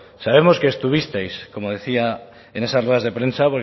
sabemos que estuvisteis como decía en esas ruedas de prensa